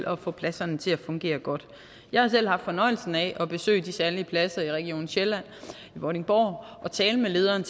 at få pladserne til at fungere godt jeg har selv haft fornøjelsen af at besøge de særlige pladser i region sjælland vordingborg og tale med lederen